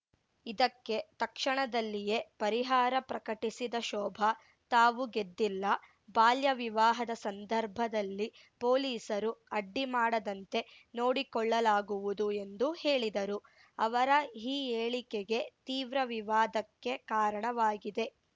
ಇದಕ್ಕೆ ತಕ್ಷಣದಲ್ಲಿಯೇ ಪರಿಹಾರ ಪ್ರಕಟಿಸಿದ ಶೋಭಾ ತಾವು ಗೆದ್ದಿಲ್ಲ ಬಾಲ್ಯ ವಿವಾಹದ ಸಂದರ್ಭದಲ್ಲಿ ಪೊಲೀಸರು ಅಡ್ಡಿ ಮಾಡದಂತೆ ನೋಡಿಕೊಳ್ಳಲಾಗುವುದು ಎಂದು ಹೇಳಿದರು ಅವರ ಈ ಹೇಳಿಕೆಗೆ ತೀವ್ರ ವಿವಾದಕ್ಕೆ ಕಾರಣವಾಗಿದೆ